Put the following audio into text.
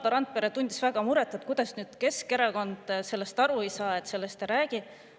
Valdo Randpere tundis väga muret, kuidas nüüd Keskerakond sellest aru ei saa, sellest ei räägi.